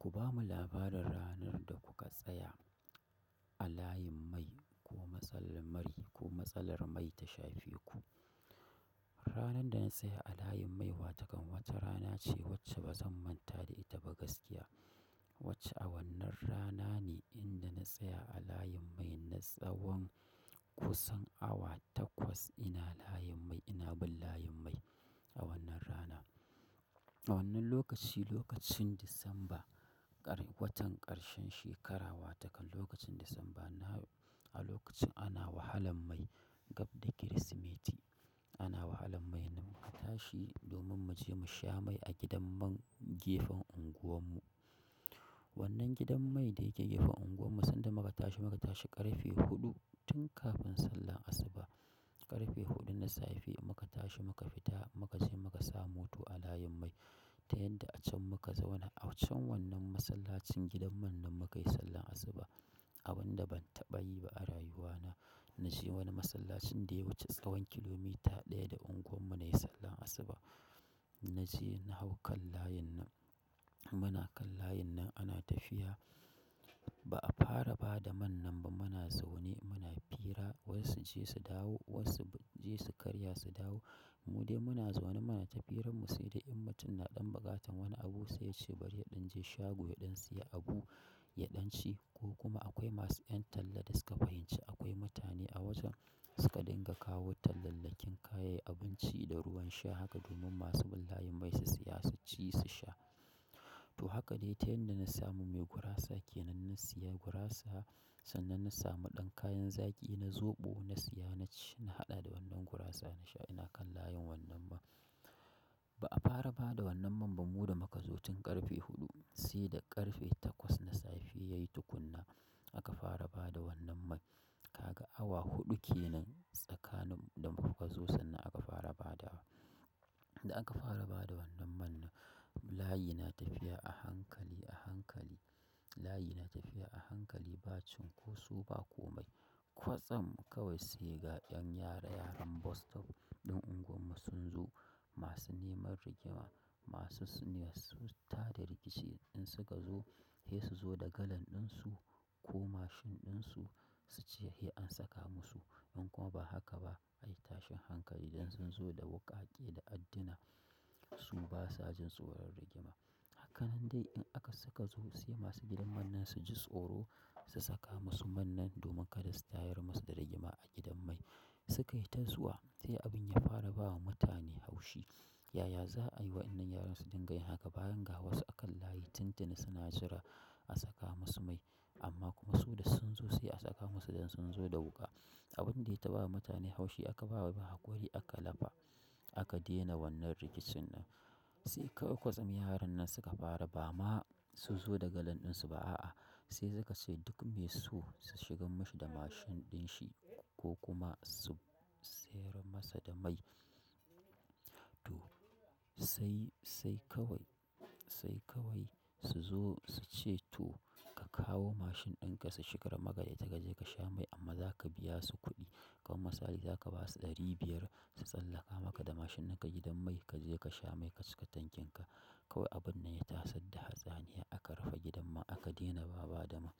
Ku ba mu labarin ranar da kuka tsaya a layin mai ko matsalar mai ta shafe ku. Ranar da na tsaya a layin mai, wata kan wace rana ce wacce ba zan manta da ita ba gaskiya. Wacce a wannan rana ne inda na tsaya a layin mai na tsawon kusan awa takwas ina layin mai, ina bin layin mai a wannan rana. A wannan lokaci, lokacin Disamba, watan ƙarshen shekara, wata kan lokacin Disamba a lokacin ana wahalan mai gab da Kirsimeti. Ana wahalan mai, muka tashi domin mu je mu sha mai a gidan man gefen unguwar mu. Wannan gidan mai da yake gefen unguwar mu sanda muka tashi, muka tashi ƙarfe huɗu tun kafin sallar asuba. Ƙarfe huɗu na safe muka tashi muka fita muka je muka sa mota a layin mai. Ta yanda a can muka zauna, a wancan wannan masallacin gidan man nan muka yi sallar asuba. Abin da ban taɓa yi ba a rayuwana, na je wani masallacin da ya wuce tsawon kilomita ɗaya da unguwar mu na yi sallar asuba. Naje na hau kan layin nan muna kan layin nan ana tafiya ba a fara ba da man nan ba muna zaune muna fira wasu je su dawo, wasu je su karya su dawo. Mu dai muna zaune muna tafiyar mu sai da in mutum na ɗan baƙatan wani abu sai ya ce bari ya ɗan je shago ya ɗan siya abu ya ɗan ci ko kuma akwai masu ƴan talla da suka fahimci akwai mutane a wajen suka dinga kawo tallalakin kayan abinci da ruwan sha haka domin masu bin layin mai su siya su ci su sha. To haka dai ta yanda na samu mai gurasa ke nan na siya gurasa sannan na samu ɗan kayan zaƙi na zoɓo na siya na ci na haɗa da wannan gurasa na sha ina kan layin wannan man. Ba a fara ba da wannan man ba mu da muka zo tun ƙarfe huɗu sai da ƙarfe takwas na safe yayi tukunna aka fara ba da wannan man. Ka ga awa huɗu ke nan tsakanin da muka zo sannan aka fara ba da wa. Da aka fara ba da wannan man nan, layi na tafiya a hankali a hankali. Layi na tafiya a hankali ba cinƙoso ba komai. Kwatsam kawai sai ga ƴan yara yaran bus-stop ɗin unguwar mu sun zo masu neman rigima masu sune su tada rikici in suka zo, sai su zo da galan ɗin su ko mashin ɗin su su ce "Hey an saka mu su." In kuma ba haka ba, ayi tashin hankali idan sun zo da wuƙaƙe da addina su basa jin tsoron rigima. Hakannl dai in aka suka zo sai masu gidan man nan ji tsoro su saka musu man nan domin kada su tayar musu da rigima a gidan mai. Suka yi tatl zuwa sai abin ya fara bawa mutane haushi. Yaya za a yi wa wannan yaran su dinga yin haka bayan ga wasu a kan layi tun tuni suna jira a saka masu mai amma kuma su da sun zo sai a saka masu idan sun zo da wuƙa. Abin dai ta bawa mutane haushi aka bawa ba haƙuri aka lafa aka daina wannan rikicin nan. Sai kawai kwatsam yaran nan suka fara ba ma su zo da galan ɗin su ba a'a sai suka ce duk me so su shigan mashi da mashin ɗin shi ko kuma su sayar masa da mai. To sai sai kawai sai kawai su zo su ce to ka kawo mashin ɗin ka su shiga magada ya taga je ka sha mai amma za ka biya su kuɗi. Amma sai dai zasu baka ɗari biyar su tsallaka maka da mashin ɗinka gidan mai ka je ka sha mai ka cika tankin ka kawai abun nan ya tasadda hatsani aka rufe gidan man aka daina ba ba da man.